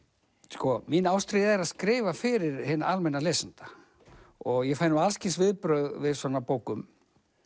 sko mín ástríða er að skrifa fyrir hinn almenna lesanda og ég fæ nú alls kyns viðbrögð við svona bókum